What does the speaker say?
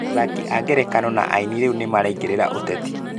Athaki a ngerekano na aini rĩu nĩmaraingĩrĩra ũteti